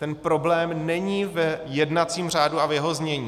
Ten problém není v jednacím řádu a v jeho znění.